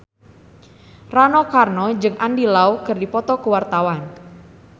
Rano Karno jeung Andy Lau keur dipoto ku wartawan